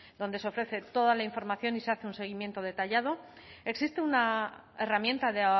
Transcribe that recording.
donde se ofrece toda la información y se hace un seguimiento detallado existe una herramienta de